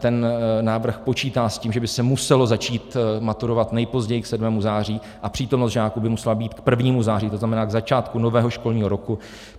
Ten návrh počítá s tím, že by se muselo začít maturovat nejpozději k 7. září a přítomnost žáků by musela být k 1. září, to znamená k začátku nového školního roku.